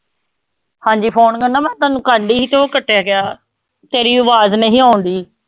ਹਾਂਜੀ phone ਕਹਿੰਦਾ ਮੈਂ ਤੁਹਾਨੂੰ ਕਰਦੀ ਸੀ ਤੇ ਉਹ ਕੱਟਿਆ ਗਿਆ, ਤੇਰੀ ਆਵਾਜ਼ ਨਹੀਂ ਆਉਂਦੀ।